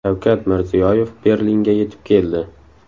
Shavkat Mirziyoyev Berlinga yetib keldi .